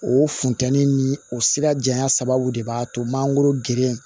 O funtɛnin ni o sira janya sababu de b'a to mangoro geren